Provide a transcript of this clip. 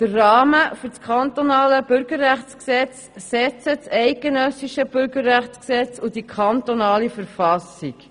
Den Rahmen für das Kantonale Bürgerrechtsgesetz setzen das eidgenössische Bürgerrechtsgesetz und die Kantonsverfassung.